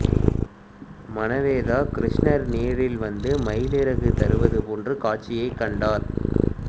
மனவேதா கிருஷ்ணர் நேரில் வந்து மயிலிறகுத் தருவது போன்ற காட்சியைக் கண்டார்